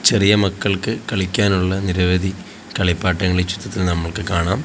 ചെറിയ മക്കൾക്ക് കളിക്കാനുള്ള നിരവധി കളിപ്പാട്ടങ്ങൾ ഈ ചിത്രത്തിൽ നമുക്ക് കാണാം.